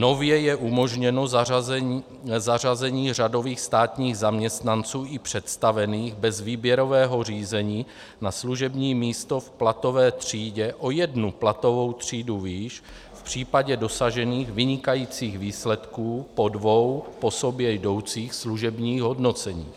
Nově je umožněno zařazení řadových státních zaměstnanců i představených bez výběrového řízení na služební místo v platové třídě o jednu platovou třídu výš v případě dosažených vynikajících výsledků po dvou po sobě jdoucích služebních hodnoceních.